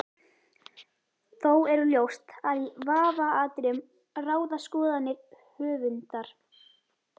Þó er ljóst að í vafaatriðum ráða skoðanir höfundar.